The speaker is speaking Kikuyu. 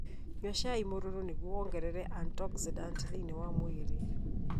Nyua cai mũruru nĩguo wongerere antioxidant thĩinĩ wa mwĩrĩ.